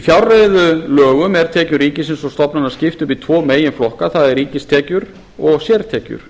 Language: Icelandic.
í fjárreiðulögunum er tekjum ríkisins og stofnana þess skipt í tvo meginflokka það er ríkistekjur og sértekjur